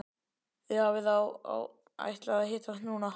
Þið hafið þá ætlað að hittast núna.